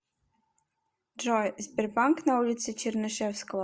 джой сбербанк на улице чернышевского